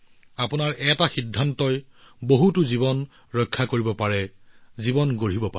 আপোনাৰ এটা সিদ্ধান্তই বহুলোকৰ জীৱন ৰক্ষা কৰিব পাৰে জীৱন দিব পাৰে